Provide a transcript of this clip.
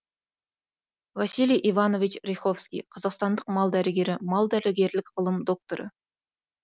василий иванович ряховский қазақстандық мал дәрігері мал дәрігерлік ғылым докторы